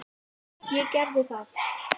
Ég gerði það.